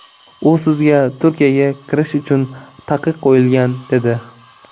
U sizga Turkiyaga kirish uchun taqiq qo‘yilgan dedi.